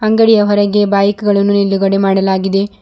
ಅಂಗಡಿಯ ಹೊರಗೆ ಬೈಕ್ ಗಳನ್ನು ನಿಲುಗಡೆ ಮಾಡಲಾಗಿದೆ.